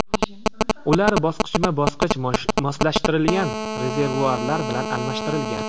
Ular bosqichma-bosqich moslashtirilgan rezervuarlar bilan almashtirilgan.